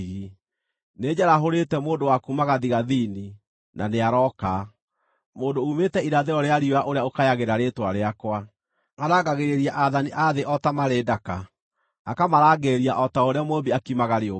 “Nĩnjarahũrĩte mũndũ wa kuuma gathigathini, na nĩarooka: mũndũ uumĩte irathĩro rĩa riũa ũrĩa ũkayagĩra rĩĩtwa rĩakwa. Arangagĩrĩria aathani a thĩ o ta marĩ ndaka, akamarangĩrĩria o ta ũrĩa mũmbi akimaga rĩũmba.